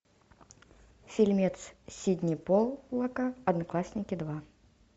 фильмец сидни поллака одноклассники два